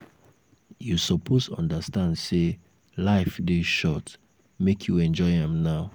you suppose understand sey life dey short make you enjoy am now.